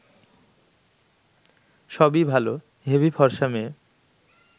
সবই ভাল, হেভি ফর্সা মেয়ে